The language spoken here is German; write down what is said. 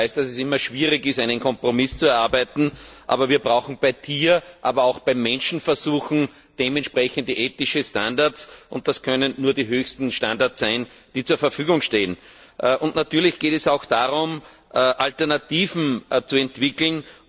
Ich weiß, dass es immer schwierig ist, einen Kompromiss zu erarbeiten, aber wir brauchen bei Tier aber auch bei Menschenversuchen angemessene ethische Standards. Und das können nur die höchsten Standards sein, die zur Verfügung stehen Natürlich geht es auch darum, Alternativen zu entwickeln.